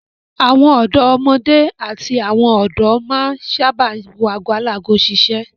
Àwọn ọ̀dọ́mọdé àti àwọn ọ̀dọ́ máa ń sábà wo ago alago ṣiṣẹ́.